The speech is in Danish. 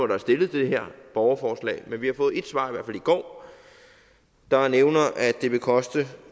der er stillet til det her borgerforslag men vi har fået et svar i går der nævner at det vil koste